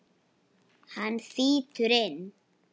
Hann þýtur inn.